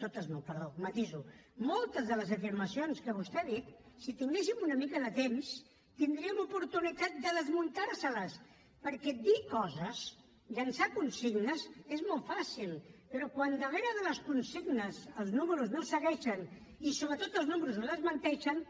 totes no perdó ho matiso moltes de les afirmacions que vostè ha dit si tinguéssim una mica de temps tindríem oportunitat de desmuntar les hi perquè dir coses llançar consignes és molt fàcil però quan darrere de les consignes els números no segueixen i sobretot els números ho desmenteixen